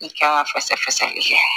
I kan ka fasa fasɛki kɛ